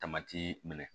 Tamati minɛ